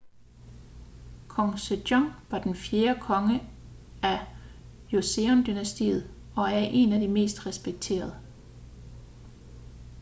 kong sejong var den fjerde konge af joseon-dynastiet og er en af de mest respekterede